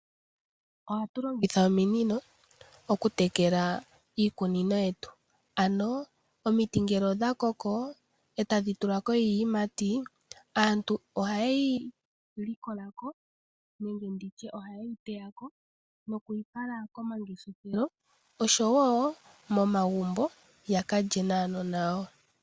Ohatu longitha ominino okutekela iikunino yetu ano omiti ngele odha koko e tadhi tula ko iiyimati aantu ohaye yi likola ko nenge nditye ohaye yi teya ko nokuyi fala komangeshefelo osho woo momagumbo ya ka lye naanona yawo.